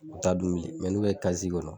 U t'a dun bilen n'u bɛ kɔnɔ.